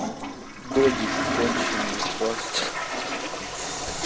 додик конченый просто